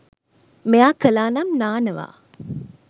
මෙයා කලානම් නානවා